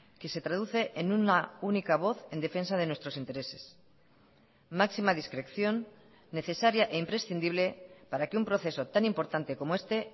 que se traduce en una única voz en defensa de nuestros intereses máxima discreción necesaria e imprescindible para que un proceso tan importante como este